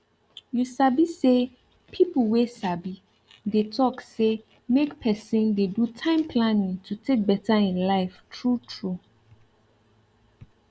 you sabi say people wey sabi dey talk say make person dey do time planning to take better im life truetrue